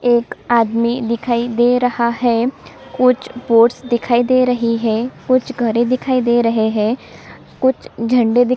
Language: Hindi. एक आदमी दिखाई दे रहा है कुछ बोर्ड्स दिखाई दे रहे है कुछ घरे दिखाई दे रहे है कुछ झंडे दिखाई दे रहे है --